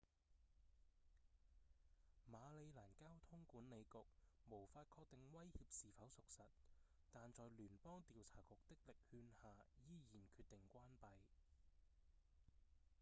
馬里蘭交通管理局無法確定威脅是否屬實但在聯邦調查局的力勸下依然決定關閉